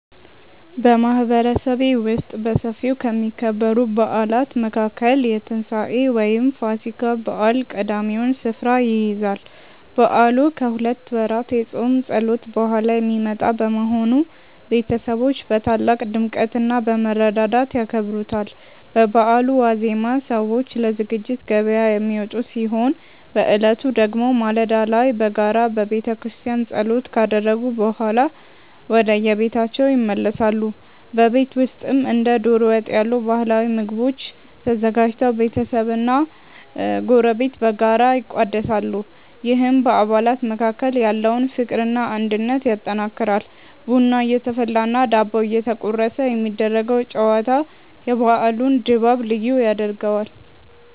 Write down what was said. በማህበረሰቤ ውስጥ በሰፊው ከሚከበሩ በዓላት መካከል የትንሳኤ (ፋሲካ) በዓል ቀዳሚውን ስፍራ ይይዛል። በዓሉ ከሁለት ወራት የጾም ጸሎት በኋላ የሚመጣ በመሆኑ፣ ቤተሰቦች በታላቅ ድምቀትና በመረዳዳት ያከብሩታል። በበዓሉ ዋዜማ ሰዎች ለዝግጅት ገበያ የሚወጡ ሲሆን፣ በዕለቱ ደግሞ ማለዳ ላይ በጋራ በቤተክርስቲያን ጸሎት ካደረጉ በኋላ ወደየቤታቸው ይመለሳሉ። በቤት ውስጥም እንደ ዶሮ ወጥ ያሉ ባህላዊ ምግቦች ተዘጋጅተው ቤተሰብና ጎረቤት በጋራ ይቋደሳሉ፤ ይህም በአባላት መካከል ያለውን ፍቅርና አንድነት ያጠናክራል። ቡና እየተፈላና ዳቦ እየተቆረሰ የሚደረገው ጨዋታ የበዓሉን ድባብ ልዩ ያደርገዋል።